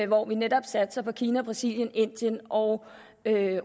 hvor vi netop satser på kina brasilien indien og